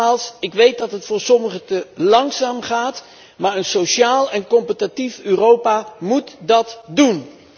Nogmaals, ik weet dat het voor sommigen te langzaam gaat, maar een sociaal en competitief Europa moet dat doen.